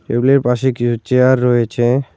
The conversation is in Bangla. টেবিলের পাশে কিছু চেয়ার রয়েছে।